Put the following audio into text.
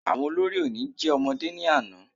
Àwọn olórí oní jẹ́ ọmọdé ní àná